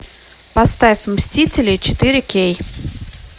поставь мстители четыре кей